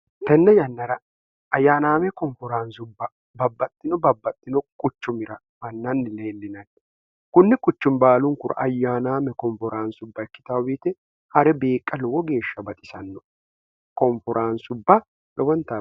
tenne yannara ayyaanaame komforaansubba babbaxxino babbaxxino quchumira mannanni leenlinatti kunni kuchumi baalunkura ayyaanaame komforaansubba ikkitaawiite ha're biiqqa lowo geeshsha baxisanno oforanubbw